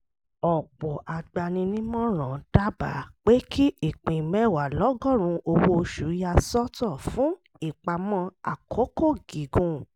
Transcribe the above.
ọ̀pọ̀ agbaninímọ̀ràn dábàá pé kí ìpín mẹ́wàá lọ́gọ́rùn-ún owó oṣù ya sọ́tọ̀ fún ìpamọ́ àkókò gígùn